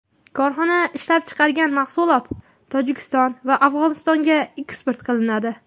Korxona ishlab chiqargan mahsulot Tojikiston va Afg‘onistonga eksport qilinadi.